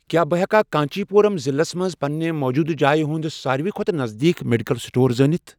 کیٛاہ بہٕ ہیٚکا کانٛچی پوٗرَم ضلعس مَنٛز پننہِ موٗجوٗدٕ جایہِ ہُنٛد ساروِی کھوتہٕ نزدیٖک میڈیکل سٹور زٲنِتھ؟